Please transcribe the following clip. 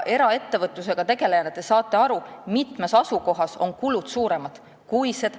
Eraettevõtlusega tegelejana te saate aru, et mitmes asukohas on kulud suuremad.